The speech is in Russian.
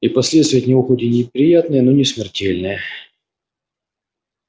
и последствия от него хоть и неприятные но не смертельные